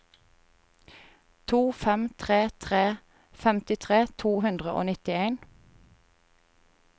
to fem tre tre femtitre to hundre og nittien